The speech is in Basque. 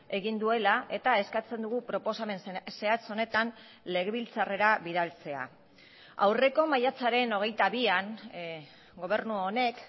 egin duela eta eskatzen dugu proposamen zehatz honetan legebiltzarrera bidaltzea aurreko maiatzaren hogeita bian gobernu honek